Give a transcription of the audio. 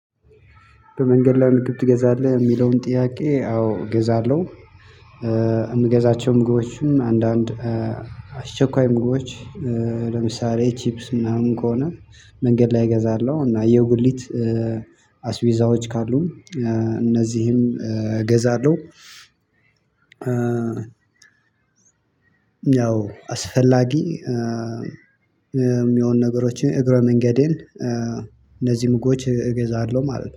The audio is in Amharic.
በመንገድ ላይ ምግብ ትገዛለህ እሚለውን ጥያቄ? አዎ እገዛለሁ። እምገዛቸው ምግቦችም አንዳንድ አስቸኳይ ምግቦች ለምሳሌ ቺፕስ ምናምን ከሆነ መንገድ ላይ እገዛለሁ። እና የጉሊት አስቤዛዎች ካሉ እነዚህንም እገዛለሁ። ያው አስፈላጊ የሚሆኑ ነገሮችን እግረ መንገዴን እነዚህን ምግቦች እገዛለሁ ማለት ነው